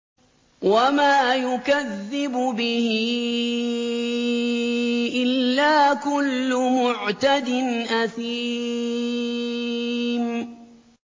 وَمَا يُكَذِّبُ بِهِ إِلَّا كُلُّ مُعْتَدٍ أَثِيمٍ